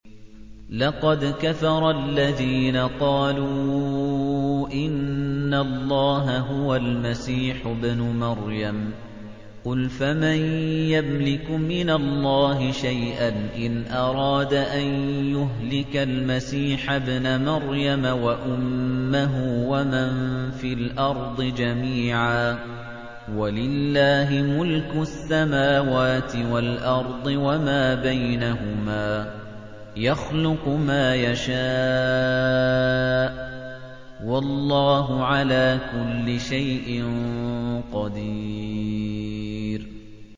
لَّقَدْ كَفَرَ الَّذِينَ قَالُوا إِنَّ اللَّهَ هُوَ الْمَسِيحُ ابْنُ مَرْيَمَ ۚ قُلْ فَمَن يَمْلِكُ مِنَ اللَّهِ شَيْئًا إِنْ أَرَادَ أَن يُهْلِكَ الْمَسِيحَ ابْنَ مَرْيَمَ وَأُمَّهُ وَمَن فِي الْأَرْضِ جَمِيعًا ۗ وَلِلَّهِ مُلْكُ السَّمَاوَاتِ وَالْأَرْضِ وَمَا بَيْنَهُمَا ۚ يَخْلُقُ مَا يَشَاءُ ۚ وَاللَّهُ عَلَىٰ كُلِّ شَيْءٍ قَدِيرٌ